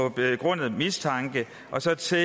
en begrundet mistanke og så til